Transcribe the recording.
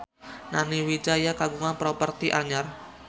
Nani Wijaya kagungan properti anyar